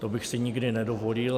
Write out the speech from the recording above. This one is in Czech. To bych si nikdy nedovolil.